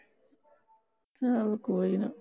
ਚੱਲ ਕੋਈ ਨਾ